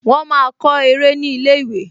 Wọ́n máa kọ eré ní ilé-ìwé